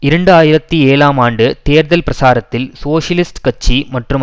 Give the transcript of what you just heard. இரண்டு ஆயிரத்தி ஏழாம் ஆண்டு தேர்தல் பிரசாரத்தில் சோசியலிஸ்ட் கட்சி மற்றும்